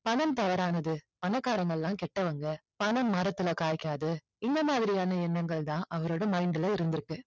பணம் தவறானது பணக்காரங்க எல்லாம் கெட்டவங்க பணம் மரத்துல காய்க்காது இந்தமாதிரியான எண்ணங்கள் தான் அவரோட mind ல இருந்திருக்கு